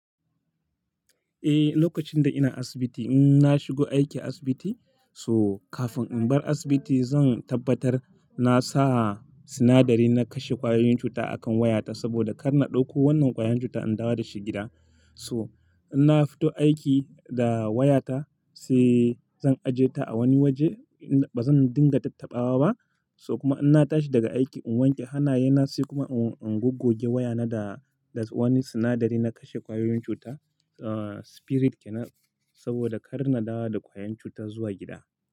Eh, lokacin da ina asibiti in na shigo aiki asibiti so kafin in bar asibiti zan tabbatar na sa sinadari na kashe ƙwayoyin cuta a kan wayata saboda kar na ɗauko wannan ƙwayoyin cuta in dawo da shi gida. So in na fito aiki da wayata sai zan aje ta a wani waje. Ba zan dinga tattaɓawa ba. So kuma in na tashi daga aiki in wanke hannayena sai kuma in guggoge wayana da, da wani sinadari na kashe ƙwayoyin cuta, ah spirit kenan saboda kar na dawo da ƙwayan cuta zuwa gida.